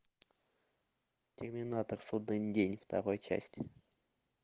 терминатор судный день вторая часть